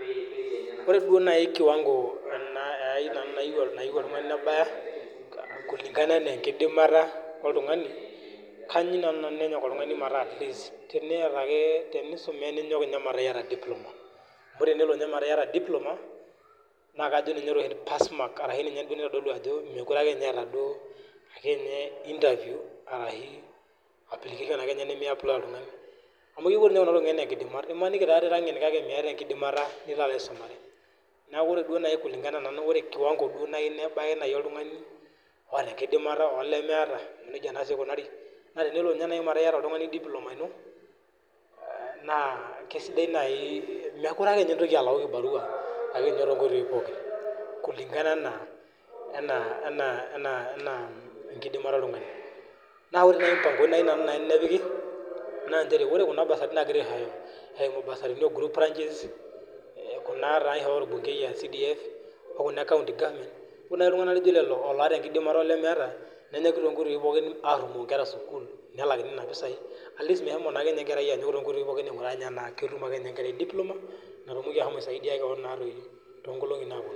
Ore duo naai kiwango nayieu oltungani mebaya kulingana ana enkidipimata oltungani na Kayieu ake nenyok oltungani meta teniata iyata diploma na kajo nany ninye naitodolu ajo mekute eeta interview amu kepuo kunatokitin anaa nkidimat imaniji irangen kake miata enkidimata nikobaisumare neaku ore kiwango nayieu nebaya oltungani oota enkdimata olemeeta na tenelo meta iyata oltungani diploma ino na kesidai nai mekute akenye intoki alau kibarha tonkoitoi pooki kukingana aena kidiamata oltungani orr kuna basarini nagirai aishooyo eimu mbasarani ore nai ltunganak lijo lolo olotta enkidimata olemeeta nenyoki alaki nkera esukul nelakini nona pisai pelo enkerai anyok anaa ketum akeenye diploma nalo aisaidiw keon tonkolongi naponu